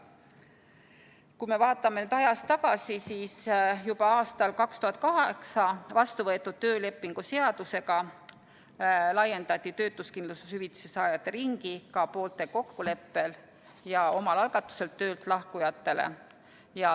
Kui me vaatame ajas tagasi, siis juba aastal 2008 vastu võetud töölepinguseadusega laiendati töötuskindlustushüvitise saajate ringi ka poolte kokkuleppel ja omal algatusel töölt lahkujatele.